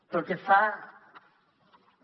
pel que fa a